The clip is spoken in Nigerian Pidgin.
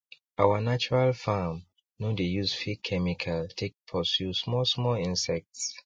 our natural farm no dey use fake chemical take pursue small small insects